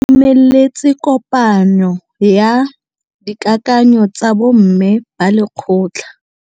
Ba itumeletse kôpanyo ya dikakanyô tsa bo mme ba lekgotla.